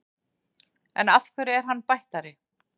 En hverju er hann bættari?